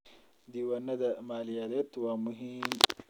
Diiwaanada maaliyadeed waa muhiim.